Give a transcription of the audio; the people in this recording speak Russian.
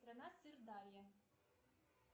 страна сырдарья